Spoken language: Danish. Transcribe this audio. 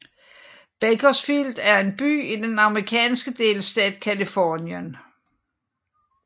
Bakersfield er en by i den amerikanske delstat Californien